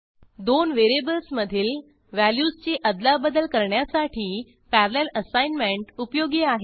दोन व्हेरिएबल्समधील व्हॅल्यूजची अदलाबदल करण्यासाठी पॅरलल असाइनमेंट उपयोगी आहे